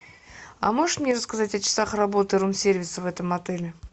а можешь мне рассказать о часах работы рум сервиса в этом отеле